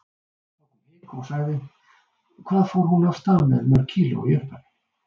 Þá kom hik og sagði: Hvað fór hún af stað með mörg kíló í upphafi?